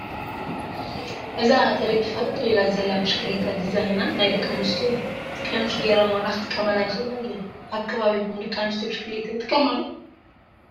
እዛ ተደጊፋ ጠጠው ኢላ ዘላ ብሽክሌታ ዲዛይና ናይ ደቂ ኣንስትዮ እያ፡፡ ቀምሽ ገይረን ዋላ ክጥቀማላ ይኽእላ እየን፡፡ ኣብ ከባቢኹም ደቂ ኣንስትዮ ብሽክሌታ ይጥቀማ ዶ?